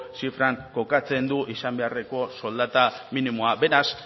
zifran kokatzen du izan beharreko soldata minimoa beraz